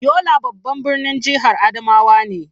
Yola babban birnin jihar Adamawa ne.